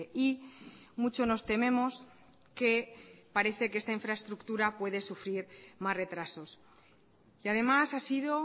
y mucho nos tememos que parece que esta infraestructura puede sufrir más retrasos y además ha sido